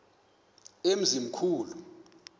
emzimkhulu